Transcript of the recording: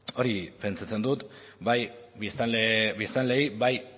hori pentsatzen dut bai biztanleei bai